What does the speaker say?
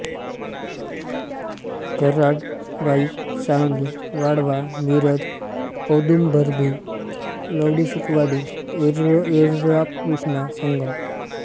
Karad Wai Sangli Walwa Miraj औदुंबरभिलवडीसुखवाडी येरळाकृष्णा Sangam